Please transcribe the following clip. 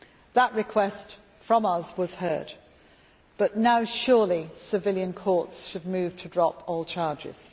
That request, from us, was heard, but now surely civilian courts should move to drop all charges.